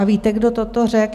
A víte, kdo toto řekl?